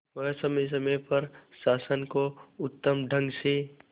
वह समय समय पर शासन को उत्तम ढंग से